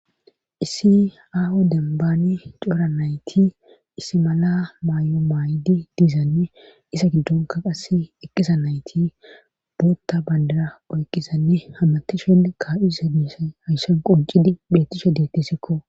issi aho dembaani cora nayti issi mala maay7o maaydi diizanne isa giddonka qasse eqqisa nayti bootta bandara oyqizanne hammatishenne kaa7usemisa hayssan quncidi betishe deettesekko